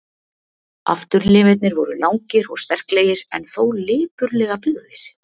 Afturlimirnir voru langir og sterklegir, en þó lipurlega byggðir.